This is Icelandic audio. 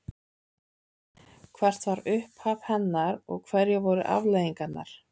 Hvert var upphaf hennar og hverjar voru afleiðingarnar?